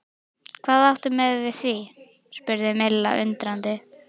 Hvað áttu við með því? spurði Milla undrandi?